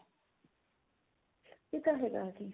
ਇਹ ਤਾਂ ਹੈਗਾ ਜੀ